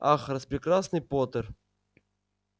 ах распрекрасный поттер